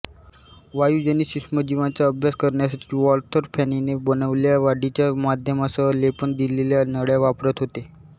वायुजनित सूक्ष्मजीवांचा अभ्यास करण्यासाठी वाल्थर फॅनीने बनवलेल्या वाढीच्या माध्यमासह लेपण दिलेल्या नळ्या वापरत होते